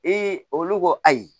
olu ko ayi